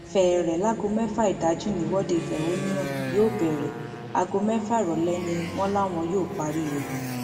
fẹẹrẹ láago mẹfà ìdájí nìwọde ìfẹhónú hàn náà yóò bẹrẹ aago mẹfà ìrọlẹ ni wọn láwọn yóò parí ẹ